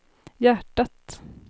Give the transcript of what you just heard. hjärtat